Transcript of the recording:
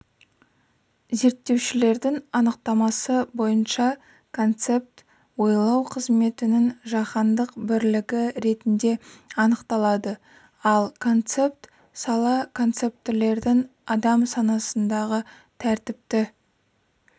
зерттеушілердің анықтамасы бойынша концепт ойлау қызметінің жаһандық бірлігі ретінде анықталады ал концепт сала концептілердің адам санасындағы тәртіпті